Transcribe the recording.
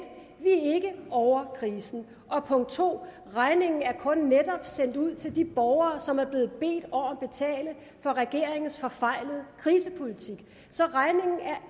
ovre krisen og punkt to regningen er kun netop sendt ud til de borgere som er blevet bedt om at betale for regeringens forfejlede krisepolitik så regningen er